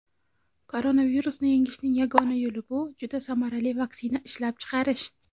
Koronavirusni yengishning yagona yo‘li bu juda samarali vaksina ishlab chiqarish.